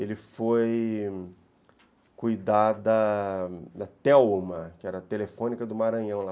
Ele foi cuidar da Telma, que era a telefônica do Maranhão.